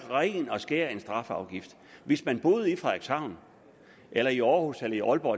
ren og skær strafafgift hvis man boede i frederikshavn eller i århus eller i aalborg